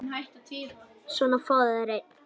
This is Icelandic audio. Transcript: Svona, fáðu þér einn.